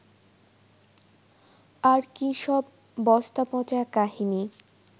আর কী সব বস্তাপচা কাহিনি